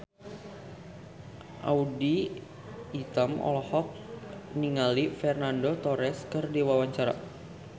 Audy Item olohok ningali Fernando Torres keur diwawancara